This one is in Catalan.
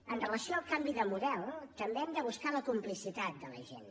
amb relació al canvi de model també hem de buscar la complicitat de la gent